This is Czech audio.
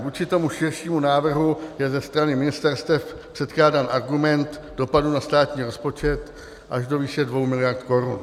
Vůči tomu širšímu návrhu je ze strany ministerstev předkládán argument dopadu na státní rozpočet až do výše dvou miliard korun.